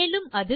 மேலும் அது